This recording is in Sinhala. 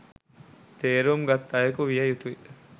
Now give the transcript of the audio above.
තේරුම් ගත් අයකු විය යුතුයි